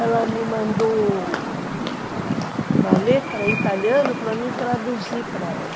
Ela me mandou uma letra italiana para mim traduzir para ela.